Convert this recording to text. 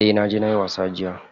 Eh naje nayi wasa jiya.